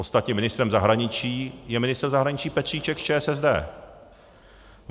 Ostatně ministrem zahraničí je ministr zahraničí Petříček z ČSSD.